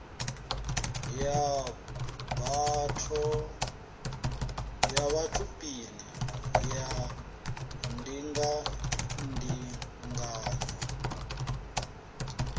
ya batho pele ya ndingandinganyo